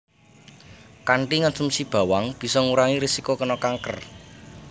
Kanthi ngonsumsi bawang bisa ngurangi risiko kéna kanker